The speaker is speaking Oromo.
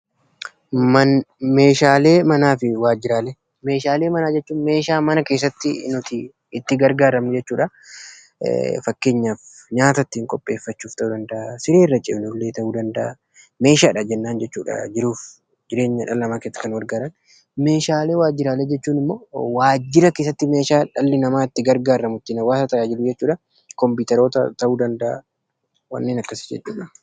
Meeshaalee manaa jechuun meeshaalee mana keessatti itti gargaarramnu jechuudha fakkeenyaaf meeshaa nyaata ittiin qopheessan, siree irraa ciisan ta'uu danda'a. Meeshaalee waajjiraa jechuun immoo meeshaa waajjiraa keessatti dhalli namaa itti gargaarramu jechuudha fakkeenyaaf kompiitera.